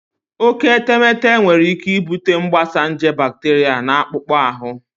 Oke etemeete nwere ike ibute mgbasa nje bakteria na akpụkpọ ahụ.